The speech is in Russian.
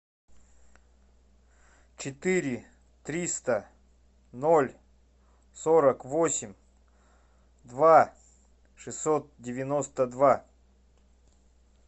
четыре триста ноль сорок восемь два шестьсот девяносто два